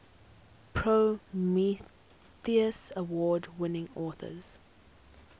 prometheus award winning authors